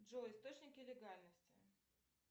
джой источники легальности